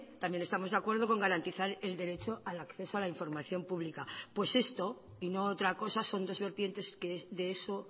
también estamos de acuerdo con garantizar el derecho al acceso a la información pública pues esto y no otra cosa son dos vertientes que de eso